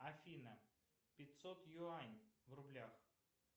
афина пятьсот юань в рублях